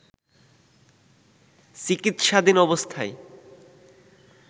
চিকিৎসাধীন অবস্থায়